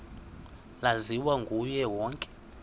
laziwa nguye wonke